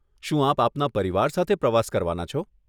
શું આપ આપના પરિવાર સાથે પ્રવાસ કરવાના છો?